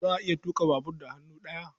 Za a iya tuƙa babur da hannu ɗaya.